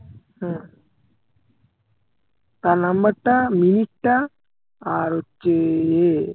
হ্যাঁ তার number টা মিনিটটা আর হচ্ছে ইয়ে